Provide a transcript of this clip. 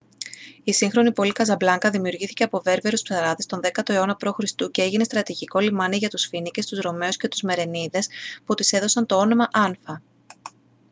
η σύγχρονη πόλη καζαμπλάνκα δημιουργήθηκε από βέρβερους ψαράδες τον 10ο αιώνα π.χ. και έγινε στρατηγικό λιμάνι για τους φοίνικες τους ρωμαίους και τους μερενίδες που της έδωσαν το όνομα άνφα